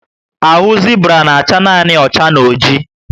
Ahụ Zibra na acha nanị ocha and oji